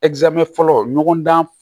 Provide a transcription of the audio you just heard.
fɔlɔ ɲɔgɔn dan